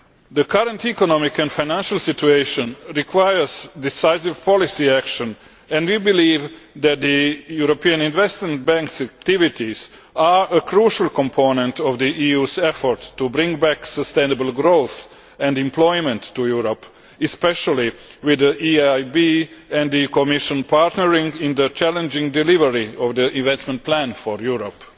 The current economic and financial situation requires decisive policy action, and we believe that the European Investment Bank's activities are a crucial component of the EU's efforts to bring back sustainable growth and employment to Europe, especially with the EIB and the Commission partnering in the challenging delivery of the investment plan for Europe.